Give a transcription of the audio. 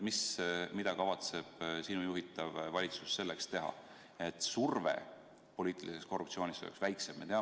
Mida kavatseb sinu juhitav valitsus teha, et surve poliitiliseks korruptsiooniks oleks väiksem?